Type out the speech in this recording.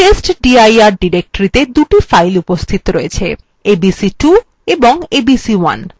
testdir directory the দুটি files উপস্থিত রয়েছে abc2 এবং abc1